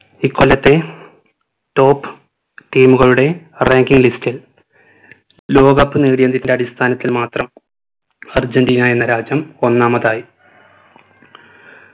ഇക്കൊല്ലത്തെ top team കളുടെ ranking list ൽ ലോക cup നേടിയതിന്റെ അടിസ്ഥാനത്തിൽ മാത്രം അർജന്റീന എന്ന രാജ്യം ഒന്നാമതായി